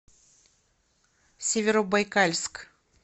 северобайкальск